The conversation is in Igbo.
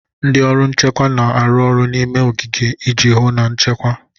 Ndị ọrụ nchekwa na-arụ ọrụ n'ime ogige iji hụ na nchekwa.